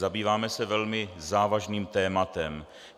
Zabýváme se velmi závažným tématem.